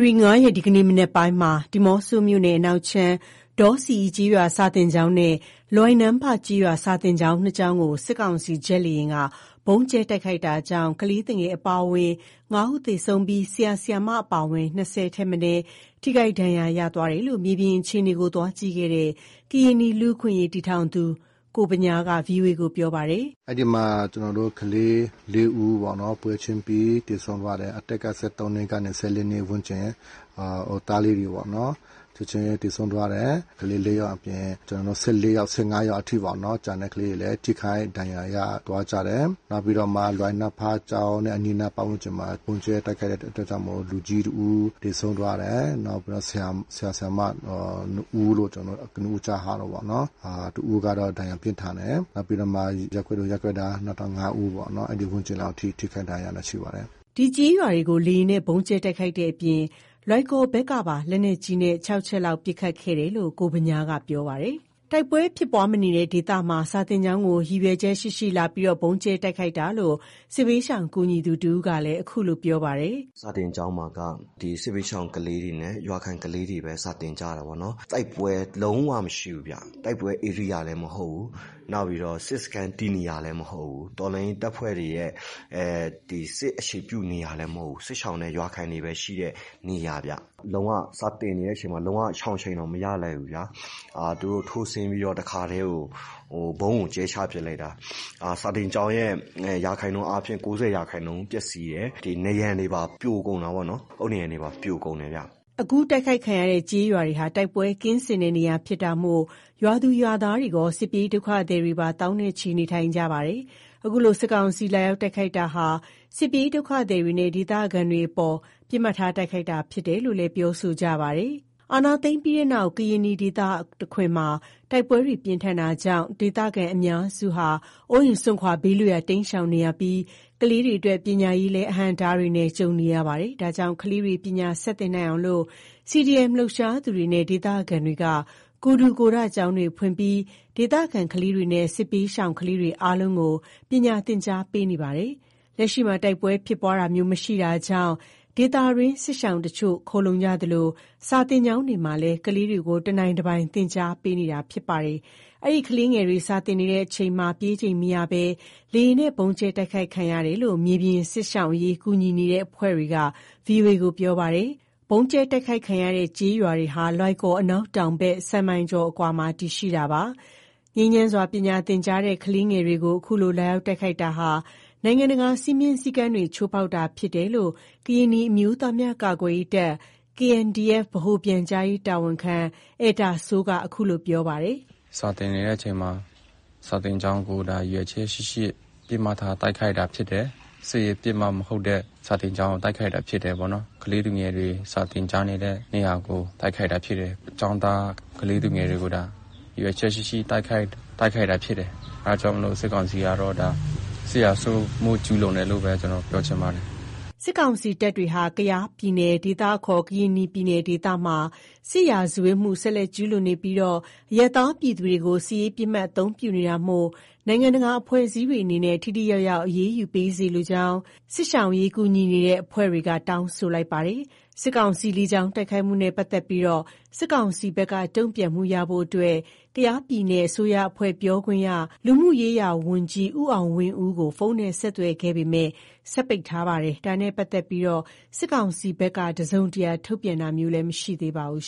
ရီ ၅ရက် ဒီကနေ့ မနက်ပိုင်းမှာ ဒီးမော့ဆိုမြို့နယ် အနောက်ခြမ်း ဒေါဆီအီကျေးရွာ စာသင်ကျောင်းနဲ့ လွိုင်နန်းဖကျေးရွာ စာသင်ကျောင်း နှစ်ကျောင်းကို စစ်ကောင်စီ ဂျက်လေယာဉ်က ဗုံးကြဲတိုက်ခိုက်တာကြောင့် ကလေးသူငယ်အပါအဝင် ၅ဦး သေဆုံးပြီး ဆရာ၊ ဆရာမ အပါအဝင် ၂၀ ဦးထက်မနည်း ထိခိုက်ဒဏ်ရာရရှိတယ်လို့ မြေပြင်အခြေအနေကို သွားကြည့်ခဲ့တဲ့ ကရင်နီလူ့အခွင့်အရေးတည်ထောင်သူ ကိုဗညားက ဗွီအိုအေကို ပြောပါတယ်။ “အဲ့ဒီမှာ ကျနော်တို့ ကလေး ၄ဦးပေါ့နော်။ ပွဲချင်းပြီးသေဆုံးသွားတယ်။ အသက်က ၁၃ နှစ်ကနေ ၁၄ နှစ်ဝန်းကျင် သားလေးတွေပေါ့ ချက်ချင်းသေဆုံးသွားတယ်။ ကလေး ၄ယောက်အပြင် ကျနော်တို့ ၁၄ယောက် ၁၅ ယောင်အထိပေ့ါနော် ကျန်တဲ့ ကလေးတွေလည်း ထိခိုက်ဒဏ်ရာရသွားကြတယ်။ နောက်ပြီးတာ့မှ လွိုင်နန်းဖကျောင်းနဲ့ အနီးအနားပတ်ဝန်းကျင်မှာ ဗုံးကြဲတိုက်ခိုက်ခံရတဲ့အတွက်ကြောင့်မို့ လူကြီးတဦး သေဆုံးသွားတယ်။ နောက်ပြီးတော့ ဆရာ၊ဆရာမ နှစ်ဦးလို့ ကျနော်တို့ ကနဦးကြားထားတယ်ပေါ့နော် တစ်ဦးကတော့ ဒဏ်ရာပြင်းထန်တယ်။ နောက်ပြီးတော့မှ ရပ်ကွက်သူရပ်ကွက်သား နောက်ထပ် ၅ ဦးပေါ့နော် အဲ့ဒီဝန်းကျင်လောက် ထိခိုက်ဒဏ်ရာတာရှိပါတယ်။” ဒီကျေးရွာတွေကို လေယာဉ်နဲ့ ဗုံးကြဲတိုက်ခိုက်တဲ့အပြင် လွိုင်ကော်ဘက်ကပါ လက်နက်ကြီးနဲ့ ၆ချက်လောက် ပစ်ခတ်ခဲ့တယ်လို့ ကိုဗညားက ပြောပါတယ်။ တိုက်ပွဲဖြစ်ပွားမနေတဲ့ ဒေသမှာ စာသင်ကျောင်းကို ရည်ရွယ်ချက်ရှိရှိ လာရောက်ဗုံးကြဲတိုက်ခိုက်တာလို့ စစ်ဘေးရှောင်ကူညီသူတစ်ဦးကလည်း အခုလိုပြောပါတယ်။ “စာသင်ကျောင်းမှာက ဒီစစ်ဘေးရှောင်ကလေးတွေနဲ့ ရွာခံကလေးတွေပဲ စာသင်ကြတယ်ပေါ့နော်။ တိုက်ပွဲလုံးဝမရှိဘူးဗျ။ တိုက်ပွဲဧရိယာလည်း မဟုတ်ဘူး။ နောက်ပြီးတော့ စစ်စခန်းတည်နေရာလည်း မဟုတ်ဘူး။ တော်လှန်ရေးတပ်ဖွဲ့ရဲ့ စစ်အခြေပြုနေရာလည်း မရှိဘူး။ စစ်ရှောင်နဲ့ ရွာခံတွေပဲရှိတဲ့ နေရာဗျ။ လုံးဝစာသင်နေတဲ့အချိန်မှာ လုံးဝရှောင်ချိန်တောင် မရလိုက်ဘူးဗျာ၊ သူတို့ထိုးဆင်းပြီးတော့ တခါတည်းကို ဗုံးကိုကြဲချပစ်လိုက်တာ စာသင်ကျောင်းရဲ့ ရာခိုင်နှုန်းအားဖြင့် ၉၀ ရာခိုင်နှုန်းပျက်စီးတယ်။ ဒီနံရံတွေပါ ပြိုကုန်တာပေါ့၊ အုတ်နံရံတွေပါ ပြိုကုန်တယ်ဗျ။” အခုတိုက်ခိုက်ခံရတဲ့ ကျေးရွာတွေဟာ တိုက်ပွဲမရှိတဲ့နေရာဖြစ်တာမို့ ရွာသူရွာသားတွေရော စစ်ပြေးဒုက္ခသည်တွေပါ သောင်းနဲ့ချီ နေထိုင်ကြပါတယ်။ အခုလို စစ်ကောင်စီက လာရောက်တိုက်ခိုက်တာဟာ စစ်ပြေးဒုက္ခသည်တွေနဲ့ ဒေသခံတွေအပေါ် ပစ်မှတ်ထားတာသာ ဖြစ်တယ်လို့လည်း ပြောဆိုကြပါတယ်။ စစ်အာဏာသိမ်းပြီးတဲ့နောက် ကရင်နီဒေသတခွင်မှာ တိုက်ပွဲတွေပြင်းထန်တာကြောင့် ဒေသခံအများစုက အိုးအိမ်စွန့်ခွာ ဘေးလွတ်ရာကို တိမ်းရှောင်နေကြရပြီး ကလေးတွေအတွက် ပညာရေးလည်း အဟန့်အတားတွေနဲ့ကြုံရတာပါ။ ဒါကြောင့် ကလေးတွေ ပညာဆက်သင်နိုင်အောင် CDM လှုပ်ရှားသူတွေနဲ့ ဒေသခံတွေက ကိုယ်ထူကိုယ်ထကျောင်းတွေဖွင့်လှစ်ပြီး ဒေသခံကလေးတွေနဲ့ စစ်ပြေးရှောင်ကလေးတွေ အားလုံးကို ပညာသင်ကြားပေးနေကြတာပါ။ လက်ရှိမှာ တိုက်ပွဲဖြစ်ပွားတာမျိုး မရှိတာကြောင့်လည်း ဒေသတွင်းမှာ စစ်ရှောင်တချို့ ခိုလှုံကြသလို စာသင်ကျောင်းတွေမှာလည်း ကလေးတွေကို တနိုင်တပိုင် သင်ကြားပေးနေတာလည်း ဖြစ်ပါတယ်။ အဲဒီ ကလေးငယ်တွေ စာသင်နေစဉ်မှာ ပြေးချိန်မရရှိဘဲ လေယာဉ်နဲ့ဗုံးကြဲတိုက်ခိုက်ခံရတာလို့ မြေပြင်က စစ်ရှောင်အရေး ကူညီနေတဲ့အဖွဲ့တွေက ဗွီအိုအေကို ပြောပါတယ်။ ဗုံးကြဲတိုက်ခိုက်ခံရတဲ့ ကျေးရွာတွေဟာ လွိုင်ကော် အနောက်တောင်ဘက် ၁၀ မိုင်ကျော်အကွာမှာ တည်ရှိတာပါ။ ငြိမ်းချမ်းစွာ ပညာသင်ကြားတဲ့ ကလေးငယ်တွေကို အခုလို လာရောက်တိုက်ခိုက်တာဟာ နိုင်ငံတကာ စည်းမျဉ်းစည်းကမ်းတွေကို ချိုးဖေါက်တာဖြစ်တယ်လို့ ကရင်နီအမျိုးသားများကာကွယ်ရေးတပ် KNDF ဗဟိုပြန်ကြားရေးတာဝန်ခံ အယ်တာစိုးက အခုလို ပြောဆိုပါတယ်။ “စာသင်နေတဲ့အချိန်မှာ စာကျောင်းကို ဒါရည်ရွယ်ချက်ရှိရှိ ပစ်မှတ်ထားတိုက်ခိုက်တာဖြစ်တယ်။ စစ်ရေးပစ်မှတ်မဟုတ်တဲ့ စာသင်ကျောင်းကိုတိုက်ခိုက်တာဖြစ်တယ်ပေါ့နော်။ ကလေးသူငယ်တွေ စာသင်ကြတဲ့ နေရာကို တိုက်ခိုက်တာဖြစ်တယ်။ ကျောင်းသား ကလေးသူငယ်တွေကို ရည်ရွယ်ချက်ရှိရှိ တိုက်ခိုက်တာဖြစ်တယ်။ အဲ့ဒါကြောင့်မို့လို့ စစ်ကောင်စီကတော့ ဒါ စစ်ရာဇဝတ်မှု ကျူးလွန်တယ်လို့ပဲ ကျနော်တို့ပြောချင်ပါတယ်။” စစ်ကောင်စီတပ်တွေဟာ ကယား ပြည်နယ်ဒေသမှာ စစ်ရာဇဝတ်မှု ဆက်လက်ကျူးလွန်နေပြီး အရပ်သားပြည်သူတွေကို စစ်ရေးပစ်မှတ် အသုံးပြုနေတာမို့ နိုင်ငံတကာအဖွဲ့အစည်းတွေအနေနဲ့ ထိထိရောက်ရောက် အရေးယူစေလိုကြောင်း စစ်ရှောင်အရေး ကူညီနေတဲ့အဖွဲ့တွေက တောင်းဆိုလိုက်ပါတယ်။ စစ်ကောင်စီရဲ့ လေကြောင်းတိုက်ခိုက်မှုနဲ့ ပတ်သက်လို့ စစ်ကောင်စီဘက် တုန့်ပြန်မှုရရှိဖို့ ကယားပြည်နယ်အစိုးရအဖွဲ့ ပြောခွင့်ရ လူမှုရေးရာဝန်ကြီး ဦးအောင်ဝင်းဦးကို ဖုန်းနဲ့ ဆက်သွယ်ခဲ့ပေမယ့် စက်ပိတ်ထားပါတယ်။ ဒါနဲ့ ပတ်သက်လို့ စစ်ကောင်စီဘက်က တစုံတရာ ထုတ်ပြန်တာမျိုး မရှိသေးပါဘူး